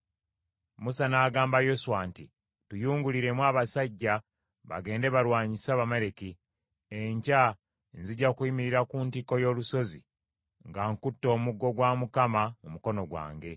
Musa n’agamba Yoswa nti, “Tuyunguliremu abasajja bagende balwanyise Abamaleki. Enkya nzija kuyimirira ku ntikko y’olusozi nga nkutte omuggo gwa Katonda mu mukono gwange.”